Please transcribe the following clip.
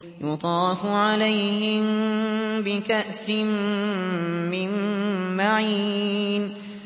يُطَافُ عَلَيْهِم بِكَأْسٍ مِّن مَّعِينٍ